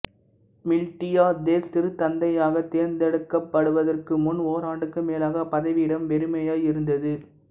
Miltiades திருத்தந்தையாகத் தேர்ந்தெடுக்கப்படுவதற்கு முன் ஓராண்டுக்கு மேலாக அப்பதவியிடம் வெறுமையாய் இருந்தது